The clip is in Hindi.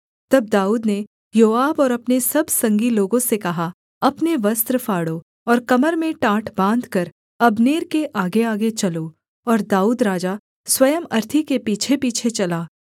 तब दाऊद ने योआब और अपने सब संगी लोगों से कहा अपने वस्त्र फाड़ो और कमर में टाट बाँधकर अब्नेर के आगेआगे चलो और दाऊद राजा स्वयं अर्थी के पीछेपीछे चला